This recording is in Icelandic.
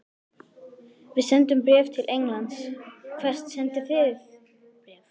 Við sendum bréf til Englands. Hvert sendið þið bréf?